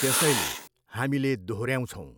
त्यसैले हामीले दोहोर्याउछौँ।